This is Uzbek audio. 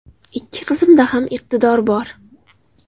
Ikki qizimda ham iqtidor bor.